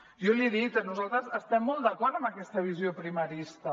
jo l’hi he dit nosaltres estem molt d’acord amb aquesta visió primarista